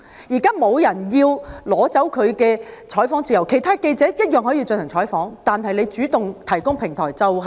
現時沒有人要拿走他的採訪自由，其他記者一樣可以進行採訪，但是他不應主動提供平台。